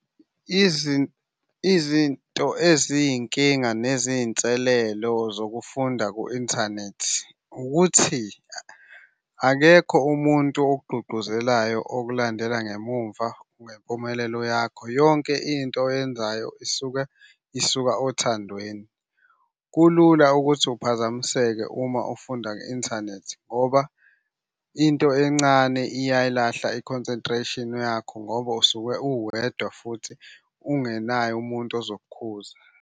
Izinto eziyinkinga neziyinselelo zokufunda ku-inthanethi ukuthi akekho umuntu okugqugquzelayo okulandela ngemumva ngempumelelo yakho. Yonke into oyenzayo isuke isuka othandweni. Kulula ukuthi uphazamiseke uma ufunda nge-inthanethi ngoba into encane iyayilahla i-concentration yakho ngoba usuke uwedwa futhi ungenaye umuntu ozokukhuza.